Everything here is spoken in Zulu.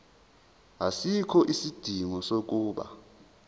asikho isidingo sokuba